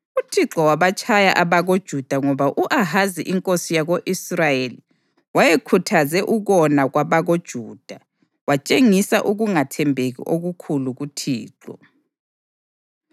UThixo wabatshaya abakoJuda ngoba u-Ahazi inkosi yako-Israyeli wayekhuthaze ukona kwabakoJuda watshengisela ukungathembeki okukhulu kuThixo.